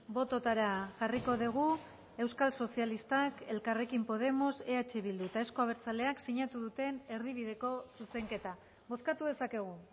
bototara jarriko dugu euskal sozialistak elkarrekin podemos eh bildu eta euzko abertzaleak sinatu duten erdibideko zuzenketa bozkatu dezakegu